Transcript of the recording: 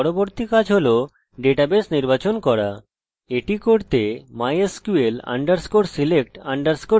এই করার জন্য আমরা mysql _select _db ফাংশন ব্যবহার করি